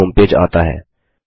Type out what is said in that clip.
Google home page आता है